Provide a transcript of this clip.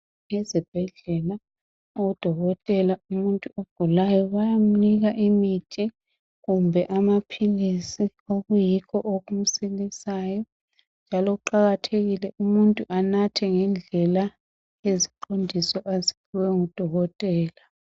Ezibhedlela odokotela umuntu ogulayo bayamnika imithi kumbe amaphilisi okuyikho okumsilisayo njalo kuqakathekile umuntu anathe ngendlela leziqondiso aziphiwe ngudokotela.